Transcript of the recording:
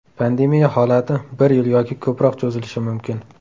Pandemiya holati bir yil yoki ko‘proq cho‘zilishi mumkin.